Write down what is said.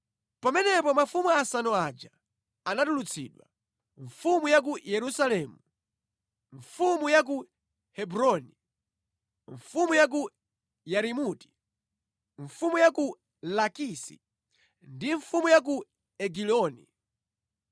Pamenepo mafumu asanu aja anatulutsidwa, mfumu ya ku Yerusalemu, mfumu ya ku Hebroni, mfumu ya ku Yarimuti, mfumu ya ku Lakisi, ndi mfumu ya ku Egiloni.